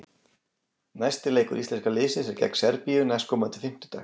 Næsti leikur íslenska liðsins er gegn Serbíu næstkomandi fimmtudag.